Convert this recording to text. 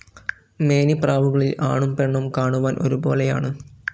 മേനിപ്രാവുകളിൽ ആണും പെണ്ണും കാണുവാൻ ഒരുപോലെയാണ്.